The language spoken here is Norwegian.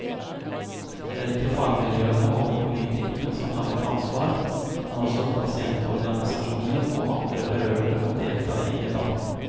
Det er ikke fagmiljøene og politikerne som har et ansvar, men også pasientorganisasjoner og andre berørte må delta i debatten.